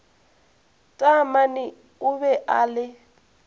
taamane o be a le